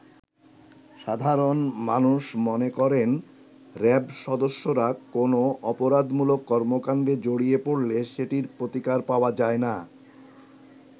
সাধারণ মানুষ মনে করেন র‍্যাব সদস্যরা কোন অপরাধমূলক কর্মকাণ্ডে জড়িয়ে পড়লে সেটির প্রতিকার পাওয়া যায়না।